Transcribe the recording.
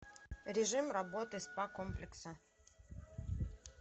режим работы спа комплекса